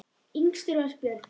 Yngstur var Björn.